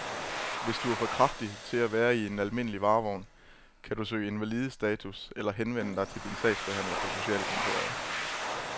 Hvis du er for kraftig til at være i en almindelig varevogn, kan du kan søge invalidestatus eller henvende dig til din sagsbehandler på socialkontoret.